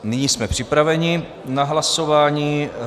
Nyní jsme připraveni na hlasování.